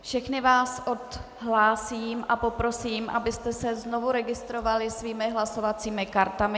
Všechny vás odhlásím a poprosím, abyste se znovu registrovali svými hlasovacími kartami.